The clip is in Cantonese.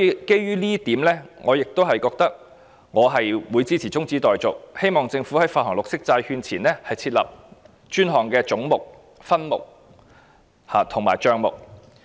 基於這一點，我支持中止待續議案，希望政府在發行綠色債券前設立專項的總目、分目及帳目。